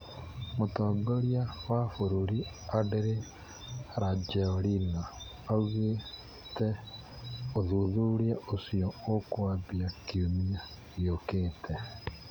Mũtongoria wa bũrũri Andry Rajoelina Augĩteũthuthuria ũcio ũkwambia kiumia giũkĩte